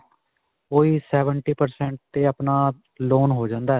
ਓਹੀ seventy percent 'ਤੇ ਆਪਣਾ loan ਹੋ ਜਾਂਦਾ ਹੈ.